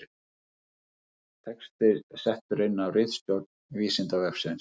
Texti settur inn af ritstjórn Vísindavefsins.